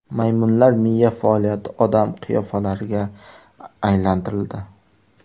Maymunlar miya faoliyati odam qiyofalariga aylantirildi.